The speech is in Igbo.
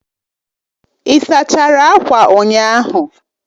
Ị sachara akwa ụnyaahụ